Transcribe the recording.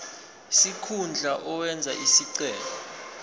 sikhundla owenze isicelo